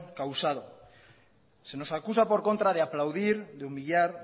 causado se nos acusa por contra de aplaudir de humillar